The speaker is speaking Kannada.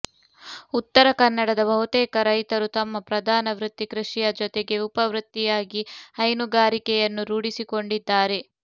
ಉತ್ತರ ಕನ್ನಡದ ಬಹುತೇಕ ರೈತರು ತಮ್ಮ ಪ್ರಧಾನ ವೃತ್ತಿ ಕೃಷಿಯ ಜೊತೆಗೆ ಉಪ ವೃತ್ತಿಯಾಗಿ ಹೈನುಗಾರಿಕೆಯನ್ನು ರೂಢಿಸಿಕೊಂಡಿದ್ದಾರೆ